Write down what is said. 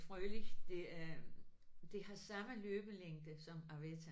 Froelich det er det har samme løbelængde som arwetta